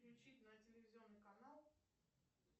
включить на телевизионный канал